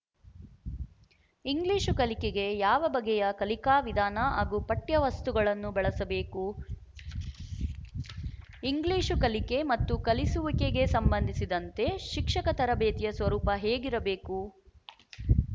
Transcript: English ಕಲಿಕೆಗೆ ಯಾವ ಬಗೆಯ ಕಲಿಕಾ ವಿಧಾನ ಹಾಗೂ ಪಠ್ಯವಸ್ತುಗಳನ್ನು ಬಳಸಬೇಕು ಇಂಗ್ಲಿಶು ಕಲಿಕೆ ಮತ್ತು ಕಲಿಸುವಿಕೆಗೆ ಸಂಬಂಧಿಸಿದಂತೆ ಶಿಕ್ಷಕ ತರಬೇತಿಯ ಸ್ವರೂಪ ಹೇಗಿರಬೇಕು